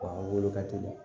Wa wolo ka teli